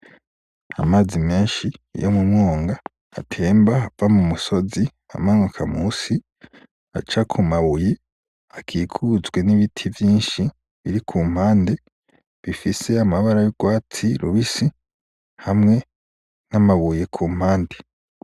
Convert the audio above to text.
Amazi menshi yo mu mwonga atemba ava mu musozi amanuka musi aca ku mabuye akikujwe nibiti vyinshi biri kumpande bifise amabara y'urwatsi rubisi hamwe n'amabuye kumpande.